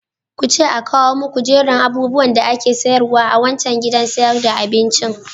Kuce a kawo muku jerin abubuwan da ake sayarwa a wancan gidan sayar da abincin.